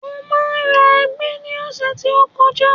Mo máa ra ẹ̀gẹ́ ní ọ̀sẹ̀ tí ó ń bọ̀